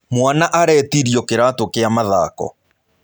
Mwaana aretirio kĩratũ kĩa mathako.